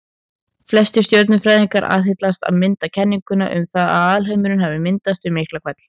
Flestir stjörnufræðingar aðhyllast til að mynda kenninguna um að alheimurinn hafi myndast við Miklahvell.